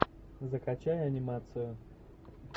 закачай анимацию